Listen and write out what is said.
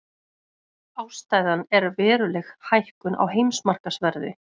Ástæðan er veruleg hækkun á heimsmarkaðsverði